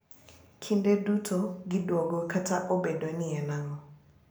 Kinde duto gidwogo kata obedo ni en ang’o.